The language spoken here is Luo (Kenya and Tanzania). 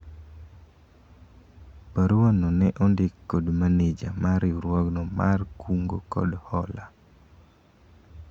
barua no ne ondik kod maneja mar riwruogno mar kungo kod hola